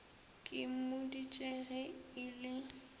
ke mmoditše ge e le